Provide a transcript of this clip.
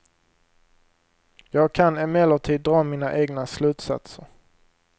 Jag kan emellertid dra mina egna slutsatser.